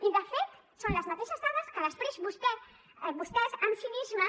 i de fet són les mateixes dades que després vostès amb cinisme